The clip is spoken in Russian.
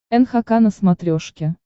нхк на смотрешке